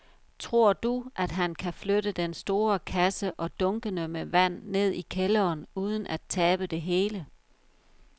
Tror du, at han kan flytte den store kasse og dunkene med vand ned i kælderen uden at tabe det hele?